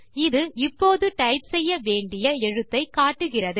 இது இப்போது டைப் செய்ய வேண்டிய எழுத்தை காட்டுகிறது